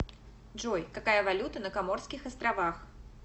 джой какая валюта на коморских островах